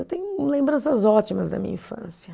Eu tenho lembranças ótimas da minha infância.